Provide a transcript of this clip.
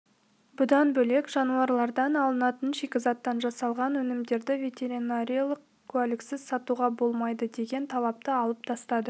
бұдан бөлек жануарлардан алынатын шикізаттан жасалған өнімдерді ветеринарлық куәліксіз сатуға болмайды деген талапты алып тастады